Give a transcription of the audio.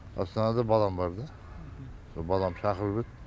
астанада балам бар да сол балам шақырып еді